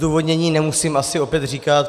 Zdůvodnění nemusím asi opět říkat.